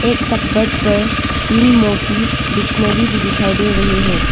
Covered पर तीन मोटी डिक्शनरी भी दिखाई दे रही है।